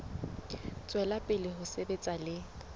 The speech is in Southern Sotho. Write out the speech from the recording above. tswela pele ho sebetsa le